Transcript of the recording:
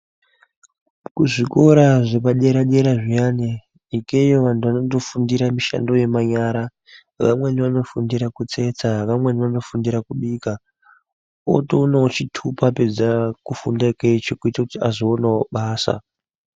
Kuzvikora zvepadera dera zviyani ikweyo vantu vanofundira mishando yemanyara vamweni vanofundira kutsetsa vamweni vanofundira kubika otoonawo chitupa apedza kufundirawo ichi kuti azoonawo basa.